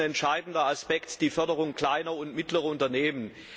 Dabei ist ein entscheidender Aspekt die Förderung kleiner und mittlerer Unternehmen.